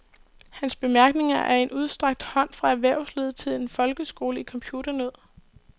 Hans bemærkninger er en udstrakt hånd fra erhvervslivet til en folkeskole i computernød.